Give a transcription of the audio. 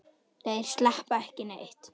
Þeir sleppa ekki neitt.